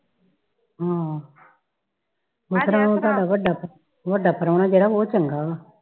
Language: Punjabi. ਹਾਂ ਜਿਸ ਤਰਹ ਉਹ ਤੁਹਾਡਾ ਵੱਡਾ ਵੱਡਾ ਪ੍ਰਾਹੁਣਾ ਜਿਹੜਾ ਉਹ ਚੰਗਾ ਵਾ